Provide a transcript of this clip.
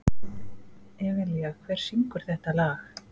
Evelía, hver syngur þetta lag?